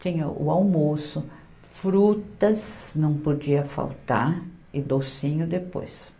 Tinha o almoço, frutas, não podia faltar, e docinho depois.